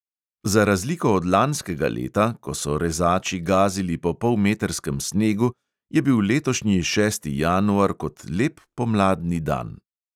Za razliko od lanskega leta, ko so rezači gazili po polmetrskem snegu, je bil letošnji šesti januar kot lep pomladni dan.